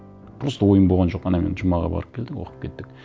просто ойым болған жоқ анамен жұмаға барып келдік оқып кеттік